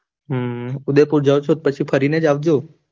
હમ ઉદયપુર જાવ છો તો, પછી ફરી ને જ આવજો